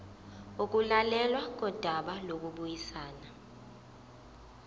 ukulalelwa kodaba lokubuyisana